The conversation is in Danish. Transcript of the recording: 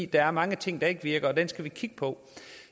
der er mange ting der ikke virker og dem skal vi kigge på